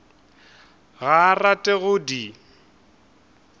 ga a rate go di